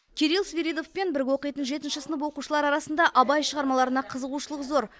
кирилл свиридовпен бірге оқитын жетінші сынып оқушылары арасында абай шығармаларына қызығушылық зор